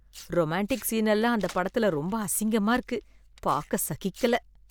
Romantic scene எல்லாம் அந்த படத்துல ரொம்ப அசிங்கமா இருக்கு, பார்க்க சகிக்கல.